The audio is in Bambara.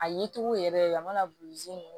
A yecogo yɛrɛ a mana buruzɛn